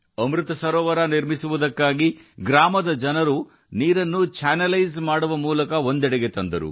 ಅಮೃತ ಸರೋವರವನ್ನು ಮಾಡಲು ಗ್ರಾಮದ ಜನರು ಎಲ್ಲ ನೀರನ್ನು ಚಾನಲ್ ಮಾಡಿ ಪಕ್ಕಕ್ಕೆ ತಂದರು